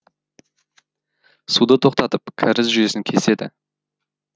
суды тоқтатып кәріз жүйесін кеседі